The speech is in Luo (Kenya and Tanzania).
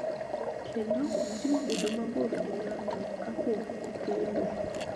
Kendo jiwo bedo mabor gi ng�ato kapok okendo.